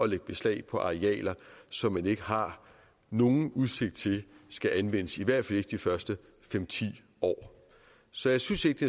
lægge beslag på arealer som man ikke har nogen udsigt til skal anvendes i hvert fald ikke de første fem ti år så jeg synes ikke